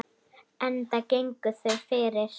Enda gengu þau fyrir.